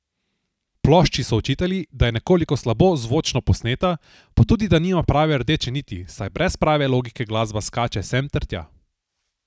Plošči so očitali, da je nekoliko slabo zvočno posneta, pa tudi da nima prave rdeče niti, saj brez prave logike glasba skače sem ter tja.